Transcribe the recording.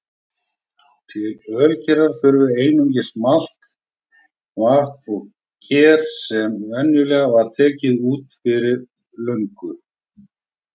Til ölgerðar þurfti einungis malt, vatn og ger sem venjulega var tekið úr fyrri lögun.